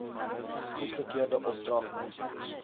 goedgekeurde opdrag minstens